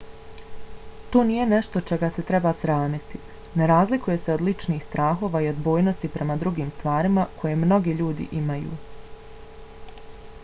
to nije nešto čega se treba sramiti: ne razlikuje se od ličnih strahova i odbojnosti prema drugim stvarima koje mnogi ljudi imaju